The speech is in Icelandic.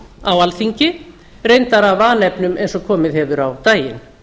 á alþingi reyndar af vanefnum eins og komið hefur á daginn